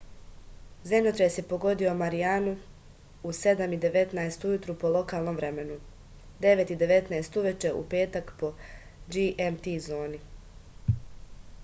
земљотрес је погодио маријану у 07:19 ујутру по локалном времену 09:19 увече у петак по gmt зони